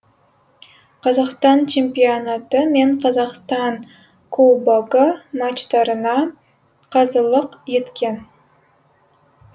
қазақстан чемпионаты мен қазақстан кубогы матчтарына қазылық еткен